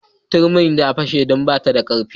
Turmin ta fashe don ba ta da karfi.